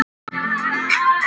Og hann hafði talað.